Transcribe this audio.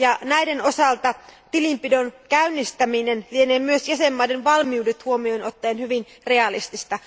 Näiden osalta tilinpidon käynnistäminen lienee myös jäsenvaltioiden valmiudet huomioon ottaen hyvin realistista.